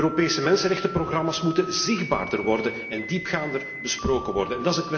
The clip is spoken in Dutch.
De Europese mensenrechtenprogramma's moeten zichtbaarder worden en diepgaander besproken worden.